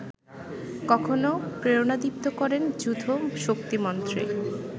কখনো প্রেরণাদীপ্ত করেন যূথ শক্তিমন্ত্রে